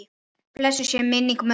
Blessuð sé minning mömmu.